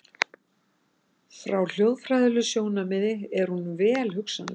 Frá hljóðfræðilegu sjónarmiði er hún vel hugsanleg.